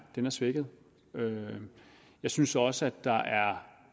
svækket jeg synes også at der er